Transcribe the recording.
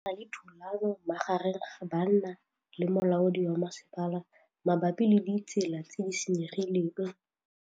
Go na le thulanô magareng ga banna le molaodi wa masepala mabapi le ditsela tse di senyegileng.